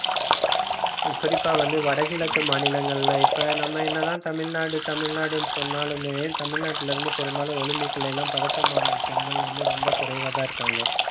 குறிப்பா வந்து வடகிழக்கு மாநிலங்கள்ல இப்ப நம்ம என்னதான் தமிழ்நாடு, தமிழ்நாடுன்னு சொன்னாலுமே தமிழ்நாட்டுல இருந்து பெரும்பாலும் olympic ல எல்லாம் பதக்கம் வாங்கும் பெண்கள் வந்து ரொம்ப குறைவாதான் இருக்காங்க